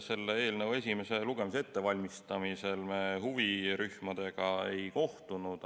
Selle eelnõu esimese lugemise ettevalmistamisel me huvirühmadega ei kohtunud.